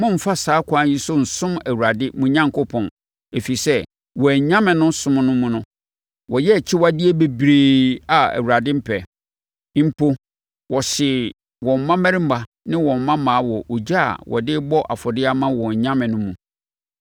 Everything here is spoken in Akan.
Mommfa saa ɛkwan yi so nsom Awurade, mo Onyankopɔn, ɛfiri sɛ, wɔn anyame no som mu no, wɔyɛɛ akyiwadeɛ bebree a Awurade mpɛ. Mpo, wɔhyee wɔn mmammarima ne wɔn mmammaa wɔ ogya a wɔde rebɔ afɔdeɛ ama wɔn anyame no mu.